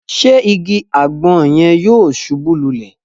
Ṣe ìgi agbon yẹn yóò ṣubu lulẹ?